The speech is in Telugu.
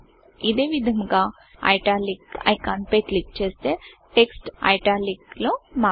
ఇదే విధముగా Italicఐట్యాలిక్ ఐకాన్ పై క్లిక్ చేస్తే టెక్స్ట్ ఐట్యాలిక్ లో మారుతుంది